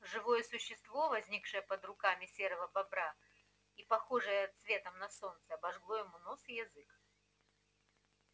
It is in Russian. живое существо возникшее под руками серого бобра и похожее цветом на солнце обожгло ему нос и язык